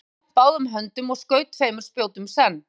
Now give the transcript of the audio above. hann vó jafnt báðum höndum og skaut tveim spjótum senn